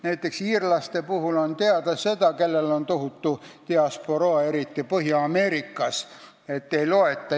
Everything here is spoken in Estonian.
Näiteks on nii iirlaste puhul, kellel on tohutu diasporaa, eriti Põhja-Ameerikas.